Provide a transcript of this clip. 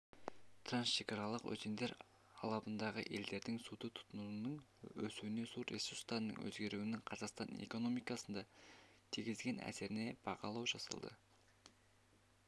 трансшекаралық өзендер алабындағы елдердің суды тұтынуының өсуіне су ресурстарының өзгеруінің қазақстан экономикасына тигізетін әсеріне бағалау жасалды